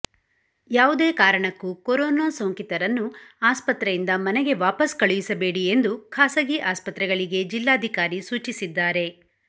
ಯಾವುದೇ ಕಾರಣಕ್ಕೂ ಕೊರೋನಾ ಸೋಂಕಿತರನ್ನು ಆಸ್ಪತ್ರೆಯಿಂದ ಮನೆಗೆ ವಾಪಸ್ ಕಳುಹಿಸಬೇಡಿ ಎಂದು ಖಾಸಗಿ ಆಸ್ಪತ್ರೆಗಳಿಗೆ ಜಿಲ್ಲಾಧಿಕಾರಿ ಸೂಚಿಸಿದ್ದಾರೆ